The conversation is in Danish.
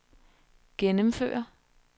gennemføre